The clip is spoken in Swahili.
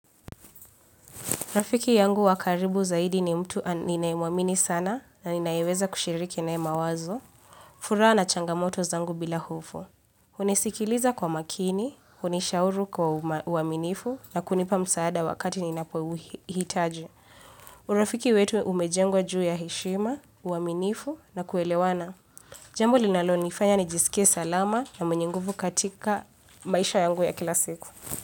Rafiki yangu wa karibu zaidi ni mtu ninayemuamini sana na ninayeweza kushiriki naye mawazo. Furaha na changamoto zangu bila hofu. Hunisikiliza kwa makini, hunishauru kwa uaminifu na kunipa msaada wakati ninapohitaji. Urafiki wetu umejengwa juu ya heshima, uaminifu na kuelewana. Jambu linalo nifanya nijisikie salama na mnyinguvu katika maisha yangu ya kila siku.